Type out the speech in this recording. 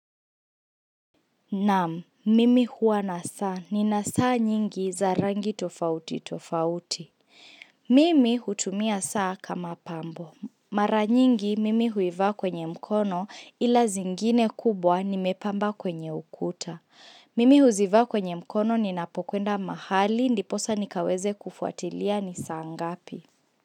Naam, mimi huwa na saa. Nina saa nyingi za rangi tofauti tofauti. Mimi hutumia saa kama pambo. Mara nyingi, mimi huivaa kwenye mkono ila zingine kubwa nimepamba kwenye ukuta. Mimi huzivaa kwenye mkono ninapokwenda mahali, ndiposa nikaweze kufuatilia ni saa ngapi.